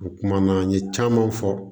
O kuma na an ye caman fɔ